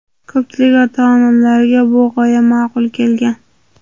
Ko‘pchilik ota-onalarga bu g‘oya ma’qul kelgan.